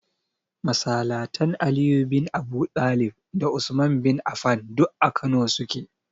Masalatan Aliyu bin Abuɗalib da Usman bin Afan duk a Kano su ke.